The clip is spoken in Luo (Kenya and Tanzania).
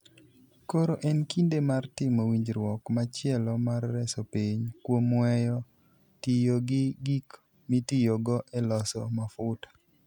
Koro en kinde mar timo winjruok machielo mar reso piny, kuom weyo tiyo gi gik mitiyogo e loso mafuta.